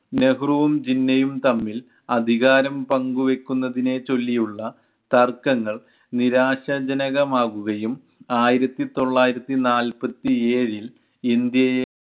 നെഹ്രുവും ജിന്നയും തമ്മിൽ അധികാരം പങ്കുവെക്കുന്നതിനെ ചൊല്ലിയുള്ള തർക്കങ്ങൾ നിരാശാ ജനകമാകുകയും ആയിരത്തിതൊള്ളായിരത്തിനാല്പത്തിയേഴിൽ ഇന്ത്യയെ